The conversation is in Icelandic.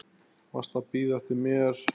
Varstu að bíða eftir mér?